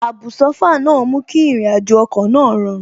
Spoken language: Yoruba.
Àbùsófà náà mú kí àrìnàjò ọkọ̀ náà rọrùn